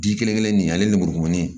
Ji kelen kelennin nin ale lemurukumuni ye